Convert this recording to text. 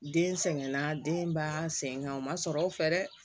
Den sɛgɛnna denba sen kan o ma sɔrɔ o fɛ dɛ